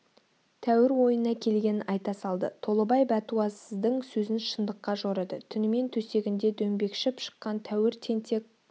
тәуір ойына келгенін айта салды толыбай бәтуасыздың сөзін шындыққа жорыды түнімен төсегінде дөңбекшіп шыққан тәуір тентек